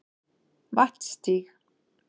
Vatnsstíg